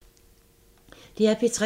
DR P3